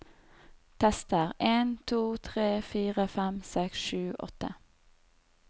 Tester en to tre fire fem seks sju åtte